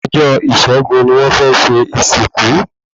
Ọjọ́ ìṣẹ́gun ni wọ́n fẹ́ ṣe ìsìnkú